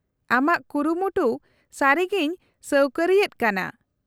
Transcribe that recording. -ᱟᱢᱟᱜ ᱠᱩᱨᱩᱢᱩᱴᱩ ᱥᱟᱹᱨᱤᱜᱮᱧ ᱥᱟᱹᱣᱠᱟᱹᱨᱤ ᱮᱫ ᱠᱟᱱᱟ ᱾